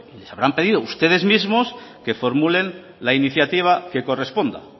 les habrán pedido ustedes mismos que formulen la iniciativa que corresponda